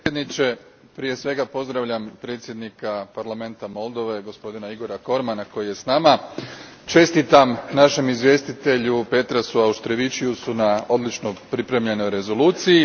Gospodine predsjedniče, prije svega pozdravljam predsjednika parlamenta Moldove, gospodina Igora Cormana, koji je s nama. Čestitam našem izvjestitelju Petrasu Auštrevičiusu na odlično pripremljenoj rezoluciji.